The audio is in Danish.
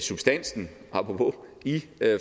substansen apropos i